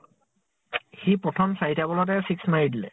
সি প্ৰথম চাৰি টা ball তে six মাৰি দিলে